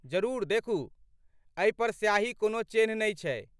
जरूर देखू। एहि पर स्याहीक कोनो चेन्ह नै छै।